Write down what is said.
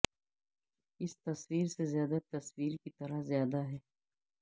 اس تصویر سے زیادہ تصویر کی طرح زیادہ ہے